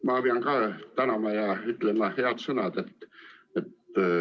Ma pean ka tänama ja ütlema head sõnad.